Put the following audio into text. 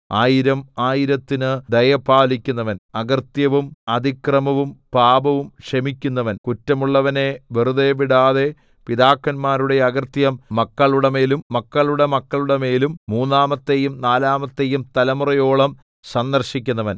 ആയിരം ആയിരത്തിന് ദയ പാലിക്കുന്നവൻ അകൃത്യവും അതിക്രമവും പാപവും ക്ഷമിക്കുന്നവൻ കുറ്റമുള്ളവനെ വെറുതെ വിടാതെ പിതാക്കന്മാരുടെ അകൃത്യം മക്കളുടെമേലും മക്കളുടെ മക്കളുടെമേലും മൂന്നാമത്തെയും നാലാമത്തെയും തലമുറയോളം സന്ദർശിക്കുന്നവൻ